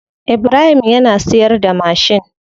Ibrahim yana siyarda mashin.